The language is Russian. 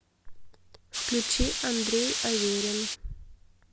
включи андрей аверин